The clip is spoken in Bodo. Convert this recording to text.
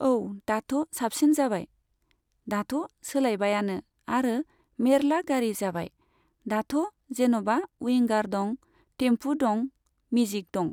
औ दाथ' साबसिन जाबाय। दाथ' सोलायबायानो आरो मेर्ला गारि जाबाय। दाथ' जेन'बा उयिंगार दं, थेम्फु दं, मिजिक दं।